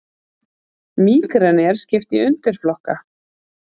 Mígreni er skipt í undirflokka.